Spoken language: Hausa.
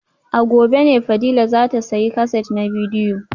A gobe ne Fadila za ta sayi kaset na bidiyo